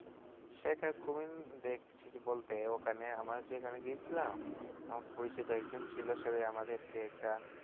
দেখছি বলতে ওখানে আমরা যেখানে গিয়েছিলাম আমার পরিচিত একজন ছিল সে আমাদেরকে একটা